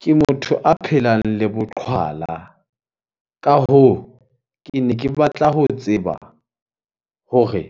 Ke motho a phelang le boqhwala. Ka hoo, kene ke batla ho tseba hore